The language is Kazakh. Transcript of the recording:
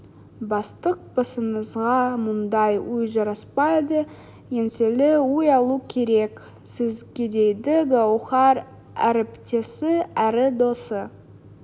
бастық басыңызға мұндай үй жараспайды еңселі үй алу керек сізгедейді гауһар әріптесі әрі досы